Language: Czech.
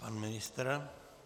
Pan ministr?